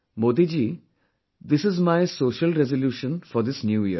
Modi ji, this is my social resolution for this new year